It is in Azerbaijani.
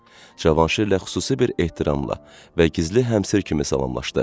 Cavanşirlə xüsusi bir ehtiramla və gizli həmsir kimi salamlaşdı.